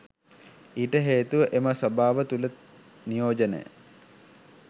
ඊට හේතුව එම සභාව තුළ නියෝජනය